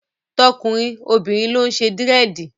Tọkùnrin, obìnrin ló ń ṣe Dírẹ̀dì.